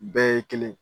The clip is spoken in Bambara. Bɛɛ ye kelen ye